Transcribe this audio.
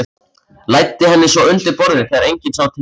Læddi henni svo undir borðið þegar enginn sá til.